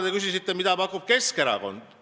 Te küsisite, mida pakub Keskerakond.